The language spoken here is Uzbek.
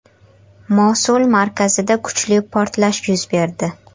Mosul markazida kuchli portlash yuz berdi.